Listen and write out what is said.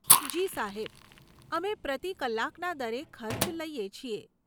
જી સાહેબ, અમે પ્રતિ કલાકના દરે ખર્ચ લઈએ છીએ.